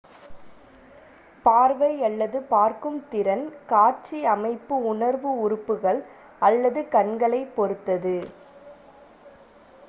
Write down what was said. பார்வை அல்லது பார்க்கும் திறன் காட்சி அமைப்பு உணர்வு உறுப்புகள் அல்லது கண்களைப் பொறுத்தது